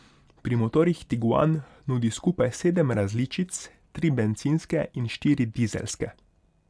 Pri motorjih tiguan nudi skupaj sedem različic, tri bencinske in štiri dizelske.